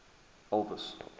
elvis